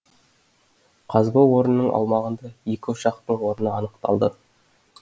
қазба орнының аумағында екі ошақтың орны анықталды